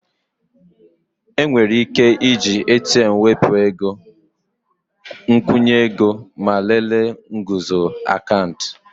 Enwere ike iji ATM wepụ ego, nkwụnye ego ego ma lelee nguzozi akaụntụ